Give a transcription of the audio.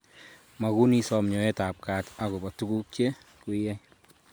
Magun isom nyoet ab kat akobo tuguk che kweiyai